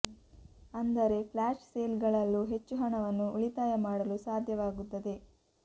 ಅಂದರೆ flash sale ಗಳಲ್ಲೂ ಹೆಚ್ಚು ಹಣವನ್ನು ಉಳಿತಾಯ ಮಾಡಲು ಸಾಧ್ಯವಾಗುತ್ತದೆ